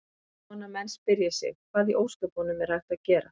Er von að menn spyrji sig: Hvað í ósköpunum er hægt að gera?